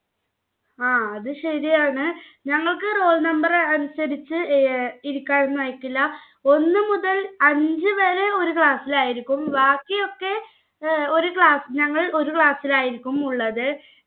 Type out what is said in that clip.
ങ്ഹാ അത് ശരിയാണ്. ഞങ്ങൾക്ക് roll number അനുസരിച്ച് ഇരിക്കാനൊന്നും അയക്കില്ല. ഒന്നു മുതൽ അഞ്ചുവരെ ഒരു class ലായിരിക്കും. ബാക്കിയൊക്കെ ഒരു class ഞങ്ങൾ ഒരു class ലായിരിക്കും ഉള്ളത്